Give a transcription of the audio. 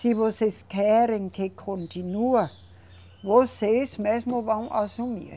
Se vocês querem que continua, vocês mesmo vão assumir.